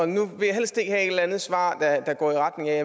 nu vil jeg helst ikke have et eller andet svar der går i retning af